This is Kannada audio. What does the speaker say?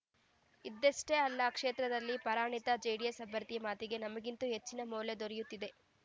ಇದ್ದಷ್ಟೇ ಅಲ್ಲ ಕ್ಷೇತ್ರದಲ್ಲಿ ಪರಾಜಿತ ಜೆಡಿಎಸ್‌ ಅಭ್ಯರ್ಥಿಯ ಮಾತಿಗೆ ನಮಗಿಂತ ಹೆಚ್ಚಿನ ಮೌಲ್ಯ ದೊರೆಯುತ್ತಿದೆ